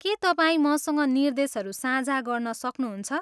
के तपाईँ मसँग निर्देशहरू साझा गर्न सक्नुहुन्छ?